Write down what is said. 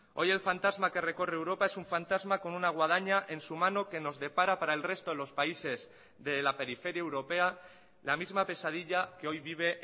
hoy el fantasma que recorre europa es un fantasma con una guadaña en su mano que nos depara para el resto de los países de la periferia europea la misma pesadilla que hoy vive